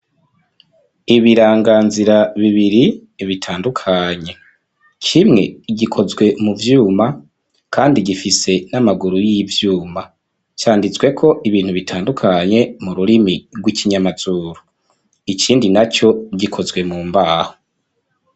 Ibiranganzira bibiri, bitandukanye; kimwe, gikozwe mu vyuma, kandi gifise n’amaguru y’ivyuma; canditsweko ibintu bitandukanye, mu rurimi rw’ikinyamazuru; ikindi naco, gikozwe mu mbaho.